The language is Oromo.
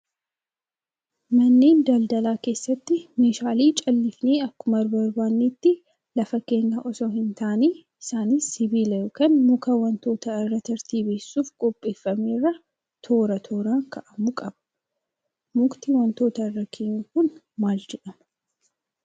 Manneen daldalaa keessatti meeshaalee callifnee akkuma barbaadnetti lafa keenya osoo hin taane isaanis sibiila yookaan muka wantoota irra tartiibessuuf qopheeffame irra toora tooraan kaa'amuu qaba. Mukti wantoota irra keenyu kun maal jedhama?